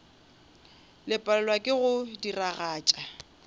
le palelwa ke go diragatša